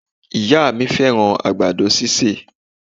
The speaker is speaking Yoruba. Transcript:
Ìyá à mí fẹ́ràn àgbàdo sísè